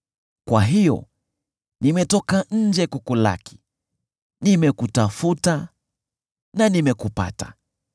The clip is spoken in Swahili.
Kwa hiyo nimetoka nje kukulaki; nimekutafuta na nimekupata!